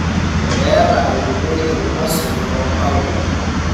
Keeta enkumoi irng`osil loo ibaoi.